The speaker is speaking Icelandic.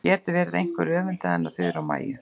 Gat það verið að einhver öfundaði hann af Þuru og Maju?